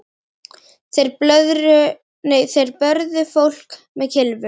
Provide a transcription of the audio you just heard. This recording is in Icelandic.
Þeir börðu fólk með kylfum.